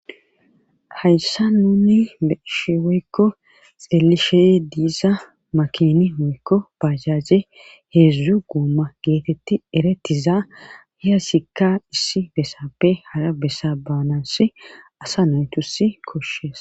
hayssa nunni be'ishe woykko xeelishey diiza makini hoykko bajaje heedzdzu guuma geetetti eretiza hiya sikka issi bessappe hara bessa baanassi asa naytusi koshshees